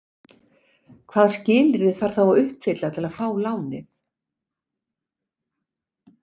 Hvaða skilyrði þarf þá að uppfylla til að fá lánið?